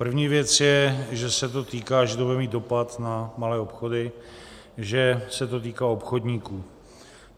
První věc je, že se to týká, že to bude mít dopad na malé obchody, že se to týká obchodníků.